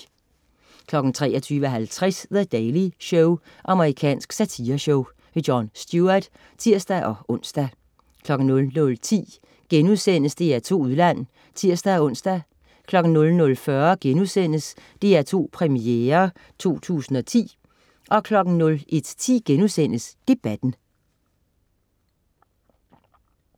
23.50 The Daily Show. Amerikansk satireshow. Jon Stewart (tirs-ons) 00.10 DR2 Udland* (tirs-ons) 00.40 DR2 Premiere 2010* 01.10 Debatten*